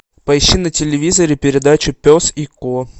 поищи на телевизоре передачу пес и ко